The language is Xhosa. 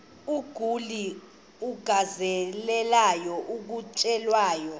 umguli alangazelelayo ukutyelelwa